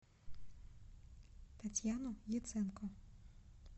татьяну яценко